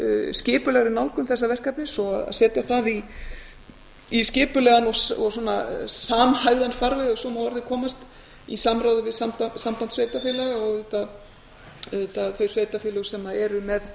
skipulegri nálgun þessa verkefnis og að setja það í skipulegan og samhæfðan farveg ef svo má að orði komast í samráði við samband sveitarfélaga og auðvitað þau sveitarfélög sem